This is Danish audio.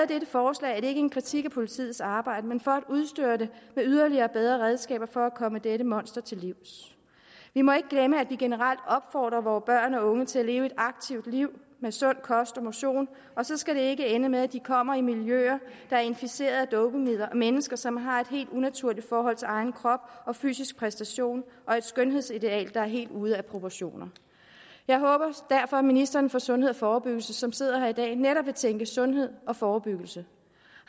dette forslag er det ikke en kritik af politiets arbejde men for at udstyre det med yderligere og bedre redskaber for at komme dette monster til livs vi må ikke glemme at vi generelt opfordrer vore børn og unge til at leve et aktivt liv med sund kost og motion og så skal det ikke ende med at de kommer i miljøer der er inficeret af dopingmidler og mennesker som har et helt unaturligt forhold til egen krop og fysisk præstation og et skønhedsideal der er helt ude af proportioner jeg håber derfor at ministeren for sundhed og forebyggelse som sidder her i dag netop vil tænke sundhed og forebyggelse